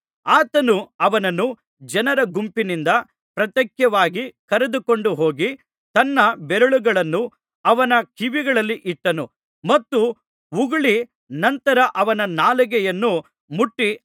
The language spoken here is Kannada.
ಆತನು ಅವನನ್ನು ಜನರ ಗುಂಪಿನಿಂದ ಪ್ರತ್ಯೇಕವಾಗಿ ಕರೆದುಕೊಂಡು ಹೋಗಿ ತನ್ನ ಬೆರಳುಗಳನ್ನು ಅವನ ಕಿವಿಗಳಲ್ಲಿ ಇಟ್ಟನು ಮತ್ತು ಉಗುಳಿ ನಂತರ ಅವನ ನಾಲಿಗೆಯನ್ನು ಮುಟ್ಟಿ